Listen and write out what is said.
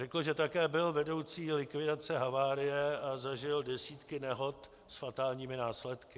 Řekl, že také byl vedoucí likvidace havárie a zažil desítky nehod s fatálními následky.